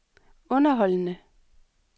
underholdende